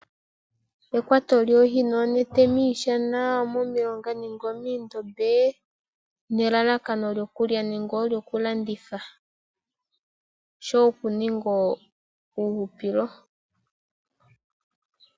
Ekwato djoohi noonete miishana, omomilonga nenge moondobe nelalakano lyokulya nenge olyoku landitha nosho woo oku ninga uuhupilo.